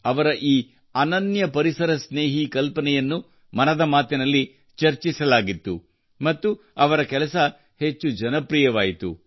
ಅವರ ಈ ಅನನ್ಯ ಪರಿಸರ ಸ್ನೇಹಿ ಕಲ್ಪನೆಯನ್ನು ಮನದ ಮಾತಿನಲ್ಲಿ ಚರ್ಚಿಸಲಾಗಿತ್ತು ಮತ್ತು ಅವರ ಕೆಲಸವು ಹೆಚ್ಚು ಜನಪ್ರಿಯವಾಯಿತು